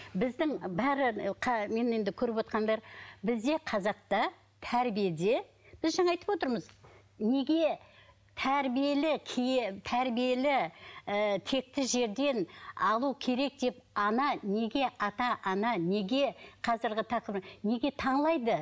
біздің бәрі мені енді көріп отырғандар бізде қазақта тәрбиеде біз жаңа айтып отырмыз неге тәрбиелі тәрбиелі ы текті жерден алу керек деп ана неге ата ана неге қазіргі тақырып неге